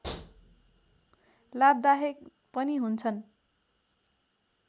लाभदायक पनि हुन्छन्